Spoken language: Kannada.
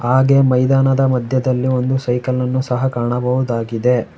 ಹಾಗೆ ಮೈದಾನದ ಮಧ್ಯದಲ್ಲಿ ಒಂದು ಸೈಕಲ್ ಅನ್ನು ಸಹ ಕಾಣಬಹುದಾಗಿದೆ.